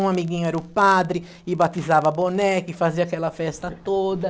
Um amiguinho era o padre e batizava boneca e fazia aquela festa toda.